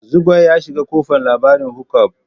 Zugwai ya shiga kofan labarin hook up.